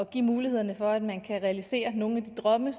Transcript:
give muligheden for at man kan realisere nogle af de drømme